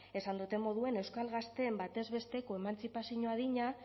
esan dudan moduan euskal gazteen batez besteko emantzipazio adina